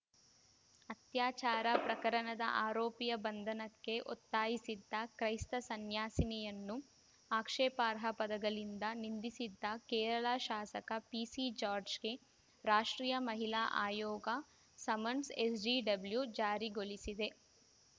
ಅತ್ಯಾಚಾರ ಪ್ರಕರಣದ ಆರೋಪಿಯ ಬಂಧನಕ್ಕೆ ಒತ್ತಾಯಿಸಿದ್ದ ಕ್ರೈಸ್ತ ಸನ್ಯಾಸಿನಿಯನ್ನು ಆಕ್ಷೇಪಾರ್ಹ ಪದಗಳಿಂದ ನಿಂದಿಸಿದ್ದ ಕೇರಳ ಶಾಸಕ ಪಿಸಿ ಜಾರ್ಜ್ಗೆ ರಾಷ್ಟ್ರೀಯ ಮಹಿಳಾ ಆಯೋಗ ಸಮನ್ಸ್‌ಎನ್‌ಸಿಡಬ್ಲ್ಯೂ ಜಾರಿಗೊಳಿಸಿದೆ